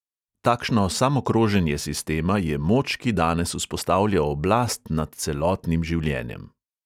Takšno samokroženje sistema je moč, ki danes vzpostavlja oblast nad celotnim življenjem.